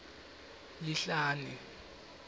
lihlane